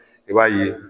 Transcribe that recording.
I b'a ye